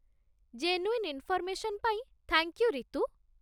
Genuine information ପାଇଁ thank you, Ritu.